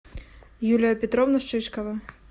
юлия петровна шишкова